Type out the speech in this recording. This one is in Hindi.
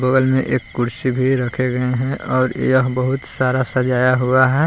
बगल में एक कुर्सी भी रखे गए हैं और यह बहुत सारा सजाया हुआ है।